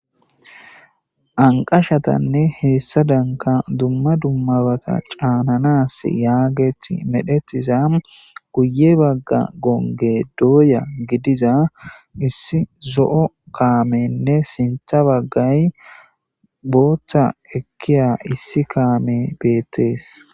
anqashatanne heessadanka dumma dummabata caananas yaaget medhetiza guye bagga gonge dooya gidiza issi zo7o kaamenne sintha baggay booththa ekkiya issi kaame beettees